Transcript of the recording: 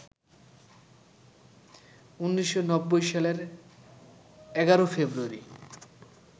১৯৯০ সালের ১১ ফেব্রুয়ারি